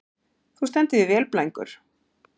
Þú stendur þig vel, Blængur!